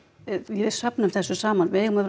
við söfnum þessu saman við eigum að